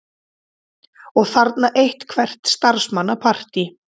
Og þarna eitthvert starfsmannapartí.